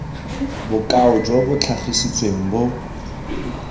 bokao jo bo tlhagisitsweng bo